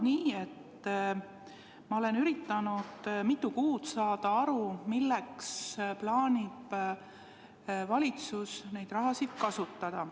Ma olen üritanud mitu kuud aru saada, milleks plaanib valitsus seda raha kasutada.